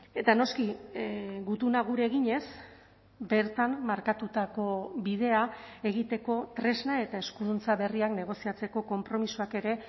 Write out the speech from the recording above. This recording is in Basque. eta noski gutuna gure eginez bertan markatutako bidea egiteko tresna eta eskuduntza berriak negoziatzeko konpromisoak ere